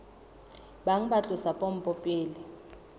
bang ba tlosa pompo pele